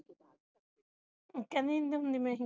ਕਹਿੰਦੀ ਨਹੀਂ ਤੇ ਮੈਂ ਹੀ ਕਰ ਲੈਂਦੀ